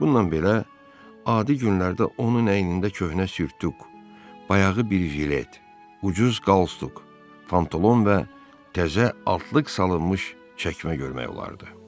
Bununla belə, adi günlərdə onun əynində köhnə sürtüq, bayağı bir jilet, ucuz qalstuk, pantolon və təzə altlıq salınmış çəkmə görmək olardı.